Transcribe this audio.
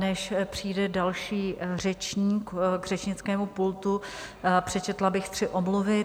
Než přijde další řečník k řečnickému pultu, přečetla bych tři omluvy.